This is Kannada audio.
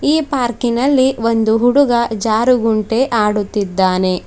ಈ ಪಾರ್ಕಿನಲ್ಲಿ ಒಂದು ಹುಡುಗ ಜಾರುಗುಂಟೆ ಆಡುತ್ತಿದ್ದಾನೆ.